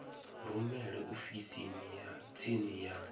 rumele ofisini ya tsini ya